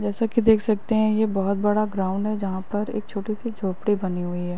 जैसा कि देख सकते हैं। ये बोहत बड़ा ग्राउंड है। जहाँ पर एक छोटी-सी झोपड़ी बनी हुई है।